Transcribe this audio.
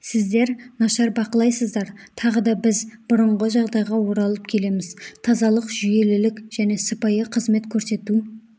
сіздер нашар бақылайсыздар тағы да біз бұрынғы жағдайға оралып келеміз тазалық жүйелілік және сыпайы қызмет көрсету